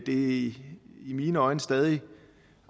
i mine øjne stadig